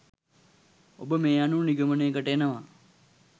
ඔබ මේ අනුව නිගමනයකට එනවා